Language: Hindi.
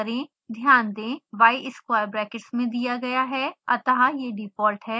ध्यान दें y स्क्वायर ब्रैकेट्स में दिया गया है अतः यह डिफॉल्ट है